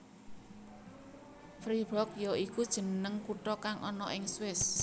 Fribourg ya iku jeneng kutha kang ana ing Swiss